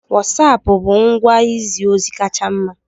Wosapu bụ ngwa izi ozi kacha mma.